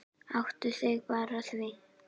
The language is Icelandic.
Áttaðu þig bara á því.